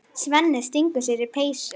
Svenni stingur sér í peysu.